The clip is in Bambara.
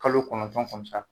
Kalo kɔnɔntɔn